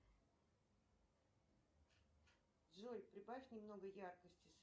джой прибавь немного яркости